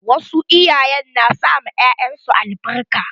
Wasu iyayen na sa ma 'ya'yan su albarka.